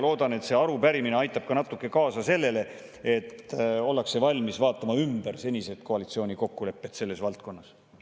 Loodan, et see arupärimine aitab ka natuke kaasa sellele, et ollakse valmis vaatama ümber koalitsiooni senised kokkulepped selles valdkonnas.